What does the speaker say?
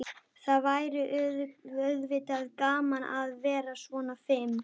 Það væri auðvitað gaman að vera svona fim.